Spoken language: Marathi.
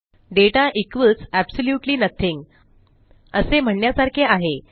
दाता इक्वॉल्स एब्सोल्यूटली नथिंग असे म्हणण्यासारखे आहे